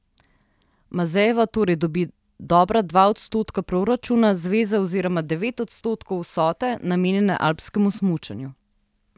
Mazejeva torej dobi dobra dva odstotka proračuna zveze oziroma devet odstotkov vsote, namenjene alpskemu smučanju.